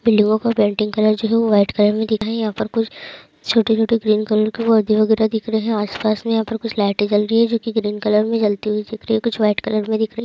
बिल्डिंगों को painting colour जो हैं वो व्हाइट कलर में दिख रहा हैं यहां पर कुछ छोटे-छोटे ग्रीन कलर के पौधे वगैरह दिख रहे हैं और आस-पास में यहां कुछ लाइटें जल रही हैं जो की ग्रीन कलर में जलती हुई दिख रही हैं कुछ व्हाइट कलर में दिख रही हैं।